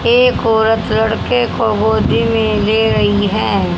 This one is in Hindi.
एक औरत लड़के को गोदी में ले रही है।